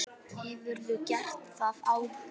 Hefurðu gert það áður?